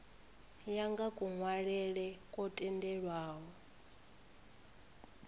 ya nga kunwalele kwo tendelwaho